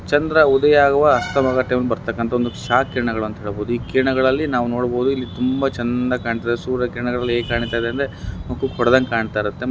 ಚಂದ್ರ ಉದಯ ಆಗುವ ಅಸ್ತಮದ ಟೈಮ್ ಬರ್ತಾಕ್ಕಂತಾ ಒಂದು ಕ್ಷಾ ಕಿರಣಗಳು ಅಂತ ಹೇಳ್ಬಹುದು. ಈ ಕಿರಣಗಳಲ್ಲಿ ನಾವು ನೋಡಬೋದು ಇಲ್ಲಿ ತುಂಭ ಚೆಂಧ ಕಾಣ್ತಿದೆ ಸೂರ್ಯ ಕಿರಣಗಳು ಹೇಗ್ ಕಾಣ್ತಿದೆ ಅಂದ್ರೆ ಮುಕ್ಕುಕ್ಕ್ ಹೊಡೆದಂಗ್ ಕಾಣ್ತಾಯಿರತ್ತೆ.